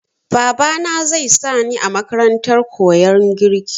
Babana zai sa ni a makarantar koyan girki.